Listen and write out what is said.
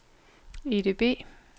EDB